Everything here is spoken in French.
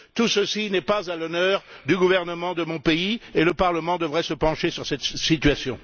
Tout cela n'est pas à l'honneur du gouvernement de mon pays et le Parlement devrait se pencher sur cette situation.